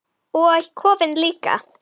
Og kofinn líka!